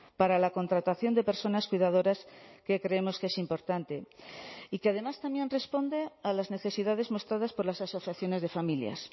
para la contratación de personas cuidadoras que creemos que es importante y que además también responde a las necesidades mostradas por las asociaciones de familias